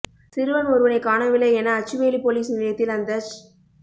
சிறுவன் ஒருவனைக் காணவில்லை என அச்சுவேலி பொலிஸ் நிலையத்தில் அந்தச்